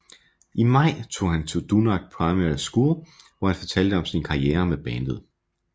I maj tog han til Dundalk Primary School hvor han fortalte om sin karriere med bandet